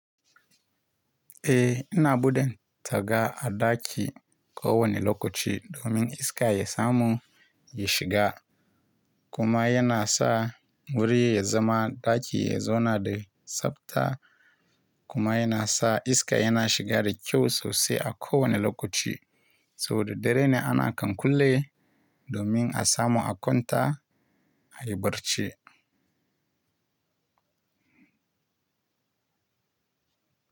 Eh ina buɗe taga a daki kowane lokaci domin iska ya samu ya shiga kuma yana sa wuri ya zama ɗaki ya zauna da tsabta kuma yana sa iska yana shiga da kyau sosai a kowane lokaci saboda dare ne ana kankulle domin a samu a kwanta a yi barci.